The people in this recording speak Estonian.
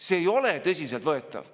See ei ole tõsiselt võetav!